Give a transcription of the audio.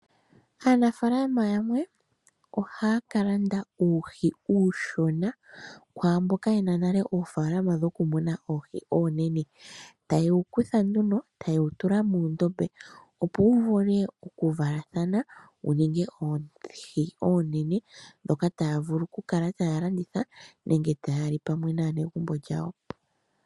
Aanafaalama yamwe ohaya ka landa uuhi uushona kwaamboka ye na nale oofaalama dhoku muna oohi oonene. Taye wu kutha nduno, taye wu tula muundombe opo wu vule okuvalathana wu ninge oohi oonene, ndhoka taya vulu oku kala taya landitha nenge taya li pamwe naanegumbo lyawo.